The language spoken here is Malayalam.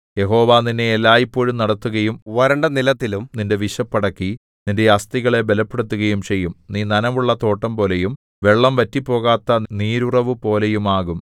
യഹോവ നിന്നെ എല്ലായ്പോഴും നടത്തുകയും വരണ്ടനിലത്തിലും നിന്റെ വിശപ്പ് അടക്കി നിന്റെ അസ്ഥികളെ ബലപ്പെടുത്തുകയും ചെയ്യും നീ നനവുള്ള തോട്ടംപോലെയും വെള്ളം വറ്റിപ്പോകാത്ത നീരുറവുപോലെയും ആകും